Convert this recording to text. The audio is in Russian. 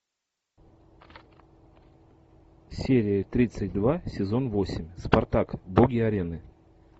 серия тридцать два сезон восемь спартак боги арены